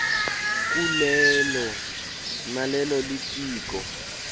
kulelo nalelo litiko